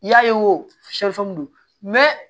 I y'a ye wo don